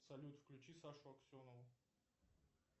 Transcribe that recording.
салют включи сашу аксенову